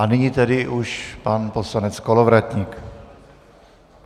A nyní tedy už pan poslanec Kolovratník.